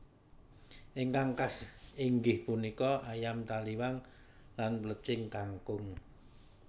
Ingkang khas inggih punika Ayam taliwang lan Plecing kangkung